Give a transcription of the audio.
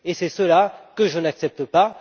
C'est cela que je n'accepte pas.